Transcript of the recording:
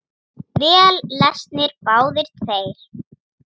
Vel lesnir, báðir tveir.